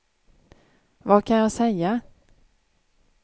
vad kan jag säga